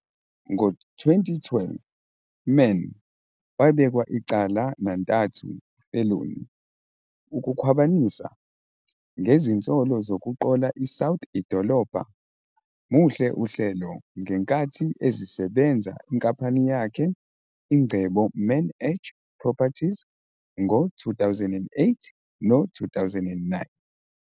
Ngo-2012, Mann wabekwa icala nantathu felony okukhwabanisa, ngezinsolo zokuqola iSouth idolobha muhle Uhlelo ngenkathi ezisebenza inkampani yakhe ingcebo MannEdge Properties ngo-2008 no-2009